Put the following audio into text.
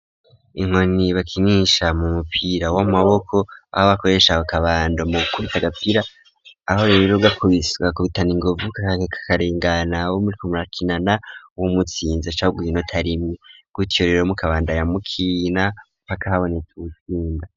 Inkoni bakinisha mu mupira w'amaboko aho bakoresha akabando mugukubita agapira aho rero ugakubise ugakubitana inguvu kakareka kakarengana bo muriko. murakinana w'umutsinze baca baguha inota rimwe gutiyo rero mu kabandanya mukina mpaka haboneka uwutsinda.